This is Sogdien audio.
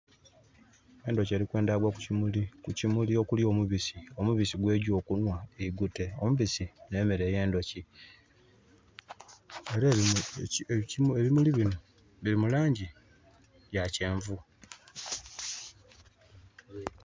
Endhuki eri kwendha gwa ku kimuli, ku kimuli okuli omubisi, omubisi gwerikugya oku nhwa eigute, omubisi ne meere yendhuki. Nhe bimuli binho bili mu langi ya kyenvu